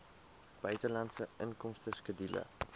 buitelandse inkomste skedule